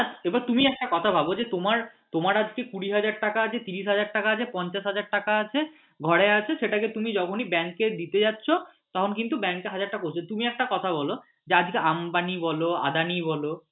হ্যাঁ এবার তুমি একটা কথা ভাবো যে তোমার আজকে কুড়ি হাজার টাকা আছে তিরিশ হাজার টাকা আছে পঞ্চাশ হাজার টাকা আছে ঘরে আছে সেটাকে তুমি যখনই ব্যাঙ্কে দিতে যাচ্ছ তখন কিওন্তু ব্যাঙ্কে হাজার টা question তুমি একটা কথা বল যে আজকে আম্বানি বল আদানি বল